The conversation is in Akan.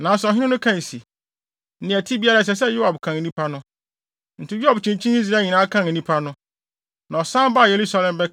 Nanso ɔhene no kae se, nea ɛte biara ɛsɛ sɛ Yoab kan nnipa no. Enti Yoab kyinkyinii Israel nyinaa kan nnipa no. Na ɔsan baa Yerusalem